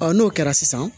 n'o kɛra sisan